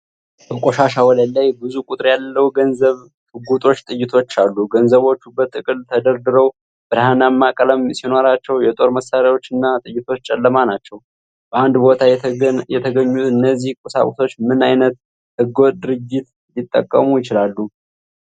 በቆሻሻ ወለል ላይ ብዙ ቁጥር ያለው ገንዘብ፣ ሽጉጦች፣ ጥይቶች አሉ። ገንዘቦቹ በጥቅል ተደርድረው ብርሃናማ ቀለም ሲኖራቸው፣ የጦር መሣሪያዎቹና ጥይቶቹ ጨለማ ናቸው። በአንድ ቦታ የተገኙት እነዚህ ቁሳቁሶች ምን ዓይነት ሕገ-ወጥ ድርጊት ሊጠቁሙ ይችላሉ?